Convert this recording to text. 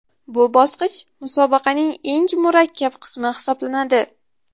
Bu bosqich musobaqaning eng murakkab qismi hisoblanadi.